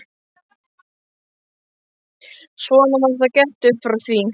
Svona var það gert upp frá því.